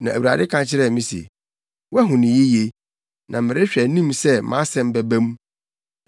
Na Awurade ka kyerɛɛ me se, “Wahu no yiye, na merehwɛ anim sɛ mʼasɛm bɛba mu.”